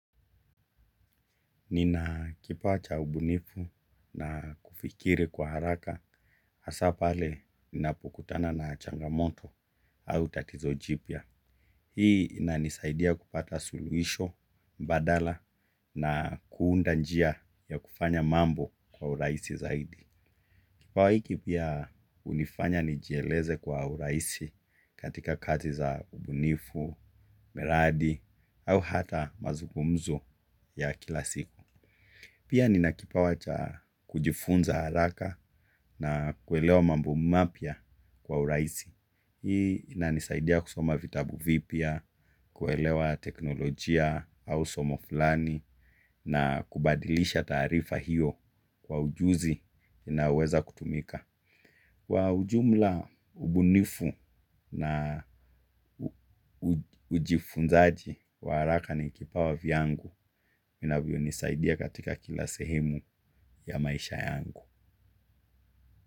Nina kipawa cha ubunifu na kufikiri kwa haraka hasa pale ninapokutana na changamoto au tatizo jipya. Hii ina nisaidia kupata suluisho, mbadala na kuunda njia ya kufanya mambo kwa uraisi zaidi. Kipawa hiki pia unifanya nijieleze kwa uraisi katika kazi za ubunifu, meradi au hata mazugumzo ya kila siku. Pia ni nakipawa cha kujifunza haraka na kuelewa mambo mapya kwa uraisi. Hii na nisaidia kusoma vitabu vipya, kuelewa teknolojia au somo fulani na kubadilisha tarifa hiyo kwa ujuzi na uweza kutumika. Kwa ujumla ubunifu na ujifunzaji wa haraka ni kipawa vyangu. Minavyo nisaidia katika kila sehemu ya maisha yangu.